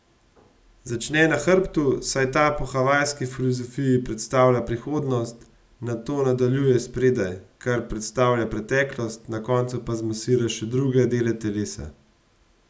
Začne na hrbtu, saj ta po havajski filozofiji predstavlja prihodnost, nato nadaljuje spredaj, kar predstavlja preteklost, na koncu pa zmasira še druge dele telesa.